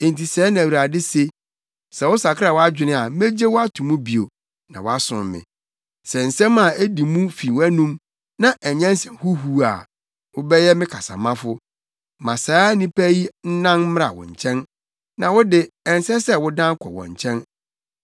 Enti sɛɛ na Awurade se, “Sɛ wosakra wʼadwene a megye wo ato mu bio na woasom me; sɛ nsɛm a edi mu fi wʼanom, na ɛnyɛ nsɛm huhuw a, wobɛyɛ me kasamafo. Ma saa nnipa yi nnan mmra wo nkyɛn, na wo de, ɛnsɛ sɛ wodan kɔ wɔn nkyɛn.